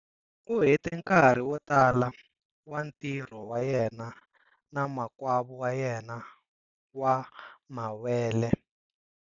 U hete nkarhi wo tala wa ntirho wa yena na makwavo wa yena wa mawele.